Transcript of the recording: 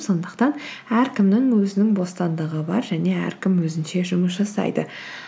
сондықтан әркімнің өзінің бостандығы бар және әркім өзінше жұмыс жасайды